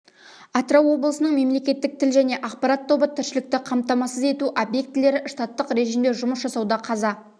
атырау облысының мемлекеттік тіл және ақпарат тобы тіршілікті қамтамасыз ету объектілері штаттық режимде жұмыс жасауда қаза